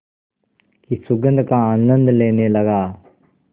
की सुगंध का आनंद लेने लगा